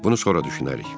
Bunu sonra düşünərik.